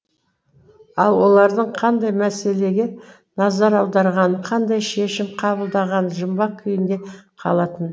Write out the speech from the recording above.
ал олардың қандай мәселеге назар аударғаны қандай шешім қабылдағаны жұмбақ күйінде қалатын